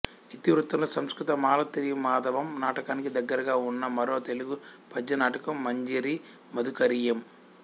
ఇతివృత్తంలో సంస్కృత మాలతీమాధవం నాటకానికి దగ్గరగా వున్న మరో తెలుగు పద్య నాటకం మంజరీ మధుకరీయం